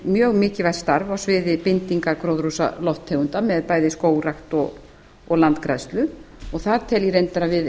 mjög mikilvægt starf á sviði bindinga gróðurhúsalofttegunda með bæði skógrækt og landgræðslu og þar tel ég reyndar að við